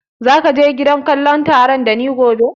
Za ka je gidan kallon tare da ni gobe?